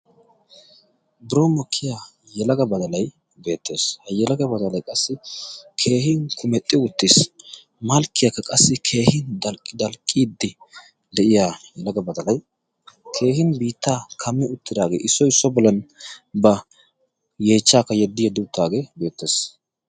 biron mokkiya yalaga badalay beettees ha yalaga badalay qassi keehin kumexxi uttiis malkkiyaakka qassi keehin dalqqii dalqqiya yelagga badalai keehin biittaa kammi uttidaagee issoy issuwan bollan ba yeechchaakka yeddi yeddi uttaagee beettees